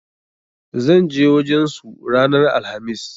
ZAn je wajen su ranan alhamis.